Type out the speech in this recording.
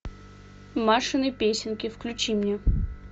машины песенки включи мне